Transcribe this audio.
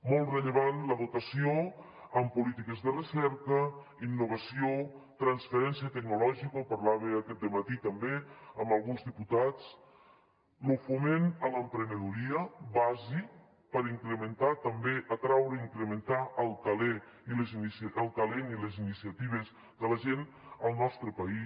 molt rellevant la dotació en polítiques de recerca innovació transferència tecnològica ho parlava aquest dematí també amb alguns diputats lo foment a l’emprenedoria bàsic per incrementar també atraure i incrementar el talent i les iniciatives de la gent al nostre país